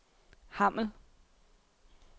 Hammel